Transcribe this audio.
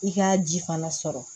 I k'a ji fana sɔrɔ